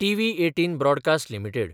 TV18 broadcast limited